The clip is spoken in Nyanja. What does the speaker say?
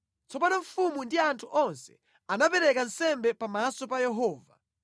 Tsono mfumu ndi anthu onse anapereka nsembe pamaso pa Yehova.